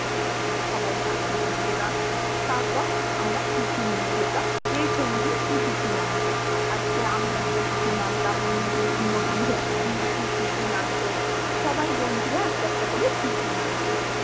সবাই থাকত বন্ধুরা, তারপর আমরা tiffin নিয়ে যেতাম, কে কোনদিন কি tiffin আনবে, আজ্কে আমি একটা tiffin আনলাম অন্য় দিন অন্য় বন্ধু একটা tiffin আনত, সবাই বন্ধুরা একটা একটা করে tiffin আনত